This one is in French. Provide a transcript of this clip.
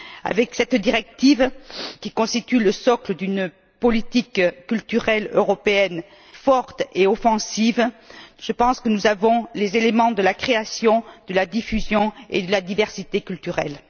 Avec cette directive, qui constitue le socle d'une politique culturelle européenne forte et offensive, je pense que nous avons les éléments de la création, de la diffusion et de la diversité culturelles.